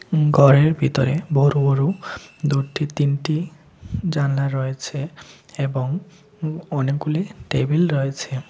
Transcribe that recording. উম ঘরের ভিতরে বড় বড় দুটি তিনটি জানলা রয়েছে এবং অনেকগুলি টেবিল রয়েছে।